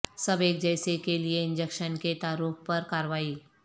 سب ایک جیسے کے لئے انجکشن کے تعارف پر کاروائی